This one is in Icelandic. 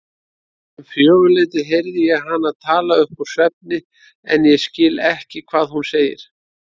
Um fjögurleytið heyri ég hana tala uppúr svefni en ég skil ekki hvað hún segir.